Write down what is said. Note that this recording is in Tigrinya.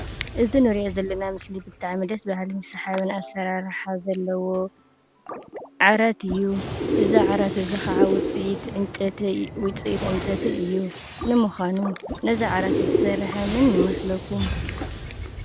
እዚ እንሪኦ ዘለና ምስሊ ብጣዕሚ ደስ በሃሊን ሰሓቢ ኣሰራርሓ ዘለዎ ዓራት እዩ። እዚ ዓራት እዚ ከዓ ውፅኢት ዕንጨይቲ እዩ። ንምዃኑ ነዚ ዓራት እዙይ ዝሰርሐ መን ይመስለኩም ?